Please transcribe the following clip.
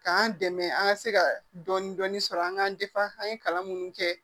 K'an dɛmɛ an ka se ka dɔni dɔni sɔrɔ an ka an ye kalan minnu kɛ